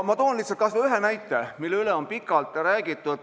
Ma toon kas või ühe näite, millest on pikalt räägitud.